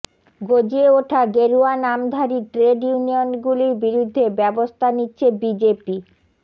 গজিয়ে ওঠা গেরুয়া নামধারী ট্রেড ইউনিয়নগুলির বিরুদ্ধে ব্যবস্থা নিচ্ছে বিজেপি